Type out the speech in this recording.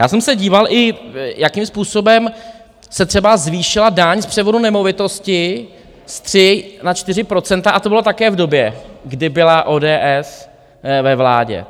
Já jsem se díval i, jakým způsobem se třeba zvýšila daň z převodu nemovitosti z 3 na 4 %, a to bylo také v době, kdy byla ODS ve vládě.